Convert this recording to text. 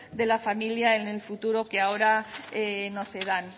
de la familia en el futuro que ahora no se dan